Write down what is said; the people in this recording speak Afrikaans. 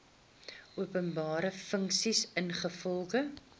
openbare funksie ingevolge